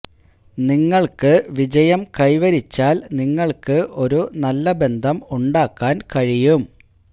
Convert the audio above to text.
നിങ്ങൾക്ക് വിജയം കൈവരിച്ചാൽ നിങ്ങൾക്ക് ഒരു നല്ല ബന്ധം ഉണ്ടാക്കാൻ കഴിയും